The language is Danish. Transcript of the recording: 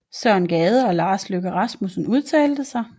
Søren Gade og Lars Løkke Rasmussen udtalte sig